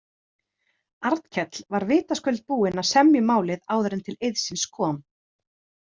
Arnkell var vitaskuld búinn að semja um málið áður en til eiðsins kom.